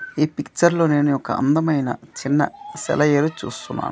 ఈ పిక్చర్లో నేను ఒక అందమైన చిన్న సెలయేరు చూస్తున్నాను.